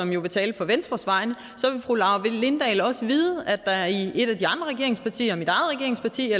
jo vil tale på venstres vegne så vil fru laura lindahl også vide at der i et af de andre regeringspartier mit eget regeringsparti og